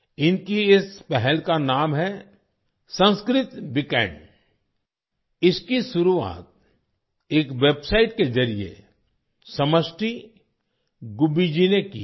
इनकी इस पहल का नाम है - संस्कृत वीकेंड इसकी शुरुआत एक वेबसाइट के जरिए समष्टि गुब्बी जी ने की है